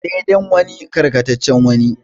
Dai dan wani karkataccen wani.